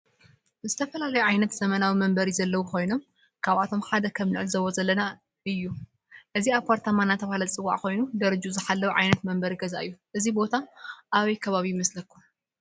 ዝተፈላለዩ ዓይነታት ዘመናዊ መንበሪ ዘለዎ ኮይኖም ካብአቶም ሓደ ከም ንዕዞቦ ዘለና እዩ። እዚ አፓርታማ እናተባህለ ዝፀዋዕ ኮይኑ ደረጁኡ ዝሓለው ዓይነት መንበሪ ገዛ እዩ። እዚ ቦታ አበይ ከባቢ ይመስለኩም?